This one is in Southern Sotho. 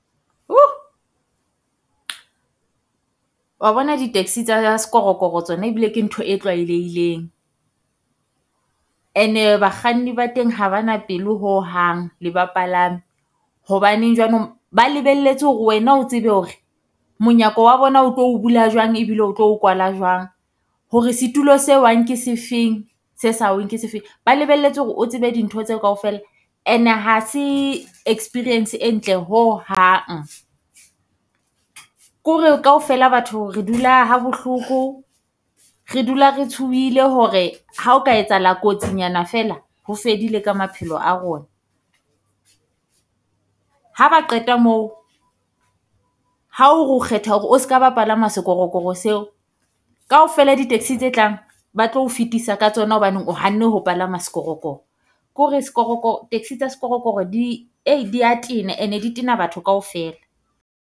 Wa bona di-taxi tsa sekorokoro tsona ebile ke ntho e tlwalehileng, and-e bakganni ba teng ha ba na pelo hohang le bapalami. Hobaneng jwanong ba lebelletse hore wena o tsebe hore monyako wa bona o tlo o bula jwang ebile o tlo o kwala jwang. Hore setulo se wang ke sefeng se sa weng ke sefe, ba lebelletse hore o tsebe dintho tseo kaofela ene ha se experience e ntle hohang. Ko re kaofela batho re dula ha bohloko re dula re tshohile hore ha o ka etsahala kotsi nyana feela, ho fedile ka maphelo a rona. Ha ba qeta moo, ha o re o kgetha hore o ska ba palama sekorokoro seo, kaofela di-taxi tse tlang ba tlo fetisa ka tsona hobaneng o hanne ho palama sekorokoro. Ko re sekorokoro taxi tsa sekorokoro di dia tena and-e di Tena batho kaofela.